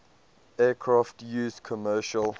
aircraft used commercial